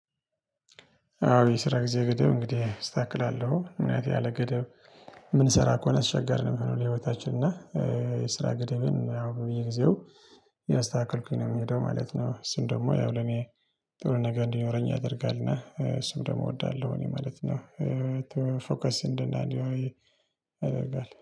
አዎ የስራ ጊዜ ገደብ እንግዲህ እስተካክላለሁ ምክንያት ያለ ገደብ የምንሰራ ከሆነ አስቸጋሪ ነው የምሆነው ለህይወታችን እና የስራ ገደብን ያው በየ ጊዜው እያስተካከልኩኝ ነው የምሄደው ማለት ነው። ስንድሞ ያው ለኔ ጥሩ ነገር እንዲኖረኝ ያደርጋልና እሱም ደግሞ እወዳለሁ እኔ ማለት ነው። ፎከስ እንድናደርግ አደርጋለሁ